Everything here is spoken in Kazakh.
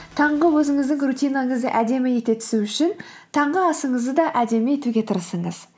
таңғы өзіңіздің рутинаңызды әдемі ете түсу үшін таңғы асыңызды да әдемі етуге тырысыңыз